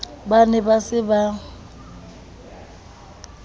ba ne ba se ba